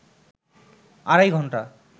আড়াই ঘণ্টা